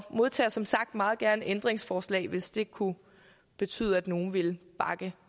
modtager som sagt meget gerne ændringsforslag hvis det kunne betyde at nogle ville bakke